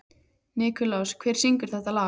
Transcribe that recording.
Nikulás, hver syngur þetta lag?